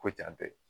Ko jan tɛ